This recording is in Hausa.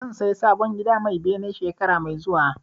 Zan saya sabon gida mai bene shekara mai zuwa